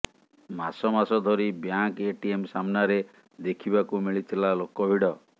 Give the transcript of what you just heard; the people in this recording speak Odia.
ମାସ ମାସ ଧରି ବ୍ୟାଙ୍କ୍ ଏଟିଏମ୍ ସାମ୍ନାରେ ଦେଖିବାକୁ ମିଳିଥିଲା ଲୋକ ଭିଡ଼